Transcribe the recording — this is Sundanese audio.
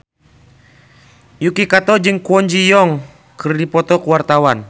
Yuki Kato jeung Kwon Ji Yong keur dipoto ku wartawan